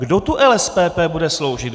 Kdo tu LSPP bude sloužit?